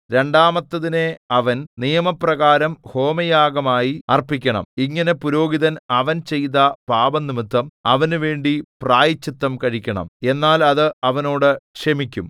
രണ്ടാമത്തതിനെ അവൻ നിയമപ്രകാരം ഹോമയാഗമായി അർപ്പിക്കണം ഇങ്ങനെ പുരോഹിതൻ അവൻ ചെയ്ത പാപംനിമിത്തം അവനുവേണ്ടി പ്രായശ്ചിത്തം കഴിക്കണം എന്നാൽ അത് അവനോട് ക്ഷമിക്കും